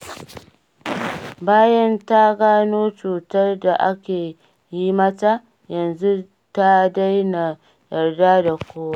Bayan ta gano cutar da ake yi mata, yanzu ta daina yarda da kowa.